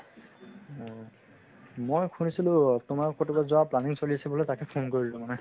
মই শুনিছিলো অ তোমাৰ ক'ৰবাত যোৱাৰ planning চলি আছিল বোলে তাকে phone কৰিলো মানে